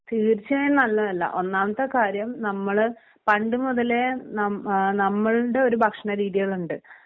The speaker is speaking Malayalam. തീർച്ചയായും നല്ലതല്ല ഒന്നാമത്തെ കാര്യം നമ്മള് പണ്ട് മുതലേ നം ആ നമ്മൾടെ ഒരു ഭക്ഷണരീതികളുണ്ട്